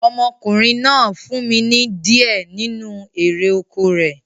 Ọmọkùnrin náà fún mi ní di ẹ nínu erè oko rẹ̀